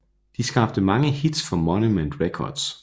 De skabte mange hits for Monument Records